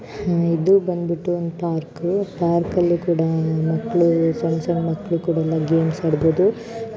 ಇದು ಬಂದ್ಬಿಟ್ಟು ಒಂದು ಪಾರ್ಕು ಪಾರ್ಕ್ ಅಲ್ಲಿ ಕೂಡ ಮಕ್ಕಳು ಸಣ್ಣ ಸಣ್ಣ ಮಕ್ಕಳು ಕೂಡ ಎಲ್ಲಾ ಗೇಮ್ಸ್ ಆಡಬಹುದು.